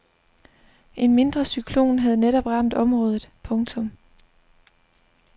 En mindre cyklon havde netop ramt området. punktum